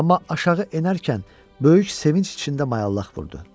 Amma aşağı enərkən böyük sevinc içində mayallaq vurdu.